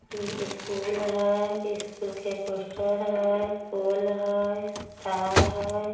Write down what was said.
ए school हय school के poster हय पोल हय तार हय।